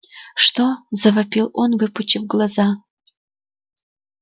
что завопил он выпучив глаза